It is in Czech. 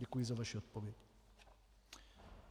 Děkuji za vaši odpověď.